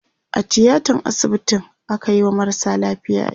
a tiatan asibiti akayi wa marasa lafiya aiki